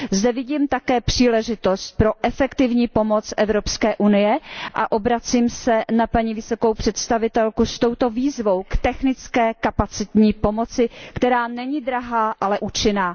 Zde vidím také příležitost pro efektivní pomoc Evropské unie a obracím se na paní vysokou představitelku s touto výzvou k technické kapacitní pomoci, která není drahá, ale účinná.